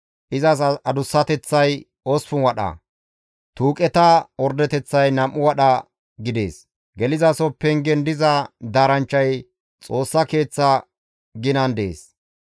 Izas adussateththay 8 wadha, tuuqeta ordeteththay 2 wadha gidees; gelizaso pengen diza daaranchchay Xoossa Keeththa ginan dees.